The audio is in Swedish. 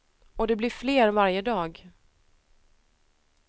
Och det blir fler varje dag.